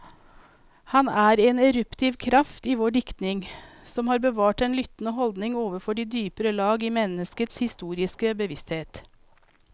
Han er en eruptiv kraft i vår diktning, som har bevart den lyttende holdning overfor de dypere lag i menneskets historiske bevissthet.